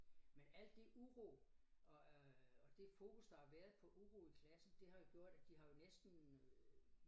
Men alt det uro og øh og det fokus der har været på uro i klassen det har jo gjort at de har jo næsten øh